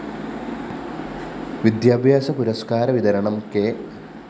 വിദ്യാഭ്യാസ പുരസ്‌കാര വിതരണം കെ